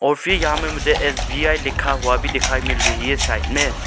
और फिर यहाँ में मुझे एस_बी_आई लिखा हुआ भी दिखाई मिल रही है साइड मे--